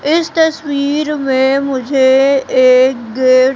इस तस्वीर में मुझे एक गेट --